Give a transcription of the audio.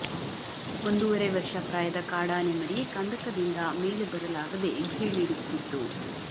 ಒಂದೂವರೆ ವರ್ಷ ಪ್ರಾಯದ ಕಾಡಾನೆ ಮರಿ ಕಂದಕದಿಂದ ಮೇಲೆ ಬರಲಾಗದೆ ಘೀಳಿಡುತ್ತಿತ್ತು